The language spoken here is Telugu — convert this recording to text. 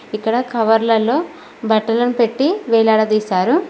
ఇక్కడ కవర్లలో బట్టలను పెట్టి వేలాడదీశారు.